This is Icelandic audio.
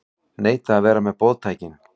Neita að vera með boðtækin